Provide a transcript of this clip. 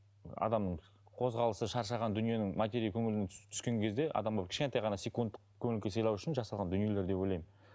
адамның қозғалысы шаршаған дүниенің матери көңілінің түскен кезде адамға бір кішкентай ған секундтық көңіл күй сыйлау үшін жасалған дүниелер деп ойлаймын